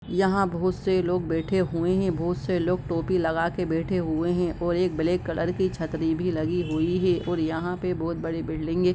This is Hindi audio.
यहाँ बहुत से लोग बैठे हुए है बहुत से टोपी लगा के बैठे हुए है और एक ब्लैक कलर की छत्री भी लगी हुई है और यहाँ पे बहुत बड़ी बिल्डिग है।